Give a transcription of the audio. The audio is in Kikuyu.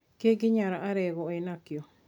Kĩngĩ Nyar Alego enakĩo.